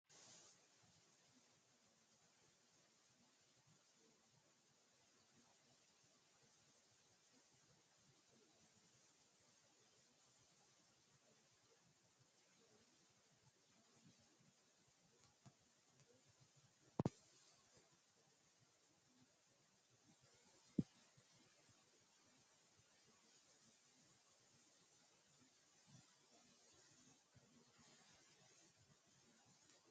Kuni Piyamaatere dhibbi leellishanno malaatta hedeweelcho bisu iibbabba, umu damuume, haxo geeggisa, tushshiisha, sagalete hasatto aja, goxano batisanna xawaabba la”a waajjate.